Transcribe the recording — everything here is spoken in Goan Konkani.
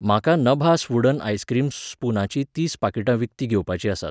म्हाका नभास वूडन आइसक्रीम स्पूनाचीं तीस पाकिटां विकतीं घेवपाचीं आसात.